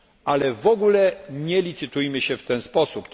Ale w ogóle nie licytujmy się w ten sposób.